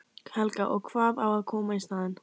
Helga: Og hvað á að koma í staðinn?